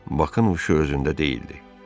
Baxın, o, özündə deyildi.